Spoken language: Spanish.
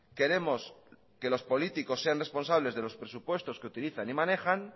queremos que los políticos sean responsables de los presupuestos que utilizan y manejan